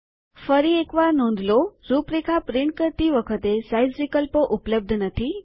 ફરી એક વાર નોંધ લો રૂપરેખા છાપતી વખતે સાઈઝ વિકલ્પો ઉપલબ્ધ નથી